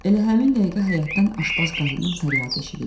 Elə həmin dəqiqə həyətdən aşbaz qadının fəryadı eşidildi.